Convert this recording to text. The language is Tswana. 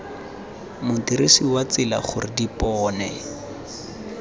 modirisi wa tsela gore dipone